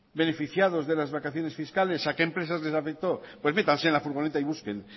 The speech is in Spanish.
beneficiados de las vacaciones fiscales a qué empresas les afectó pues métanse en la furgoneta y busquen